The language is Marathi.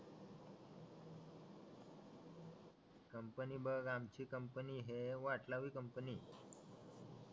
कंपनी बघ आमची कंपनी हे वाट लावी कंपनी